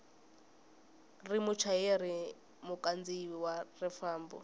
ri muchayeri mukhandziyi wa xifambo